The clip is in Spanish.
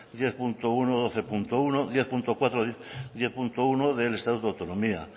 diez punto uno doce punto uno diez punto cuatro y diez punto uno del estatuto de autonomía